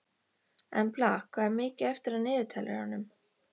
Embla, hvað er mikið eftir af niðurteljaranum?